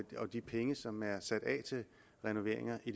de penge som er sat af til renoveringer i